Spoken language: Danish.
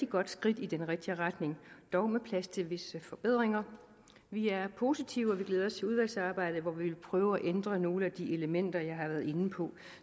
godt skridt i den rigtige retning dog med plads til visse forbedringer vi er positive og vi glæder os til udvalgsarbejdet hvor vi vil prøve at ændre nogle af de elementer jeg har været inde på og